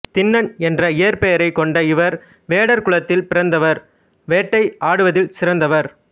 திண்ணன் என்ற இயற்பெயரைக் கொண்ட இவர் வேடர் குலத்தில் பிறந்தவர் வேட்டை ஆடுவதில் சிறந்தவர்